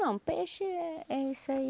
Não, peixe é isso aí.